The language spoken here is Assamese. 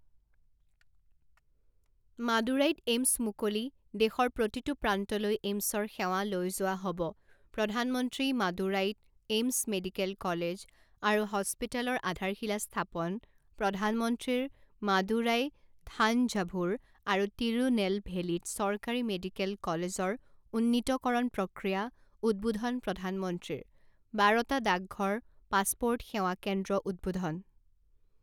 মাডুৰাইত এইমছ মুকলি দেশৰ প্ৰতিটো প্ৰান্তলৈ এইমছৰ সেৱা লৈ যোৱা হ'ব প্ৰধানমন্ত্ৰী মাডুৰাইত এইমছ মেডিকেল কলেজ আৰু হস্পিতালৰ আধাৰশিলা স্থাপন প্ৰধানমন্ত্ৰীৰ মাডুৰাই থানঝাভূৰ আৰু টিৰুনেলভেলীত চৰকাৰী মেডিকেল কলেজৰ উন্নীতকৰণ প্ৰক্ৰিয়া উদ্বোধন প্ৰধানমন্ত্ৰীৰ বাৰটা ডাকঘৰ পাছপৰ্ট সেৱা কেন্দ্ৰ উদ্বোধন